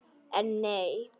En nei.